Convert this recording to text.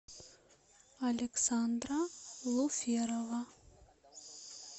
александра луферова